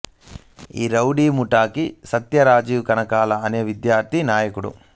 ఈ రౌడీ ముఠాకి సత్య రాజీవ్ కనకాల అనే విద్యార్ధి నాయకుడు